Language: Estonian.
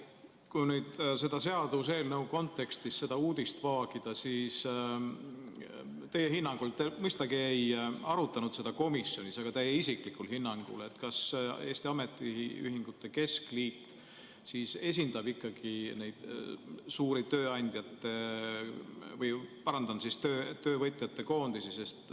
Kui nüüd selle seaduseelnõu kontekstis seda uudist vaagida, siis mõistagi ei arutanud te seda komisjonis, aga kas teie isiklikul hinnangul Eesti Ametiühingute Keskliit esindab ikkagi neid suuri töövõtjate koondisi?